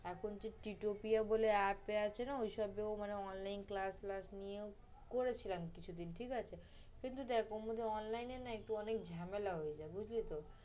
এখন যে Tea Topia বলে app এ আছে না, ঐসবে মানে online class নিয়েও করেছিলাম কিছুদিন, ঠিক আছে। কিন্তু দেখ online এ না একটু ঝামেলা হয়ে যায়, বুঝলি তো।